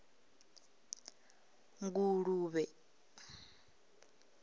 nguluvhe